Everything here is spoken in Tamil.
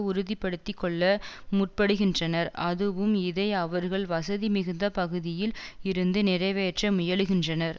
உறுதிபடுத்திக் கொள்ள முற்படுகின்றனர் அதுவும் இதை அவர்கள் வசதி மிகுந்த பகுதியில் இருந்து நிறைவேற்ற முயலுகின்றனர்